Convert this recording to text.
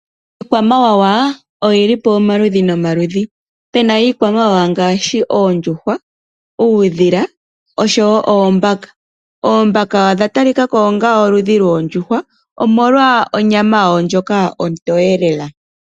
Iikwamawawa oyili pamaludhi nomaludhi. Opena iikwamawawa ngaashi oondjuhwa, uudhila noshowo oombaka. Oombaka odha talika ko onga oludhi lwoondjuhwa omolwa onyama yawo ndjoka ontowe lela.